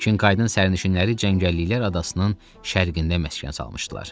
Çinkaydın sərnişinləri cəngəlliklər adasının şərqində məskən salmışdılar.